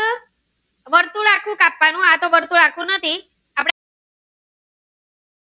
આ તો વર્તુળ આખું નથી.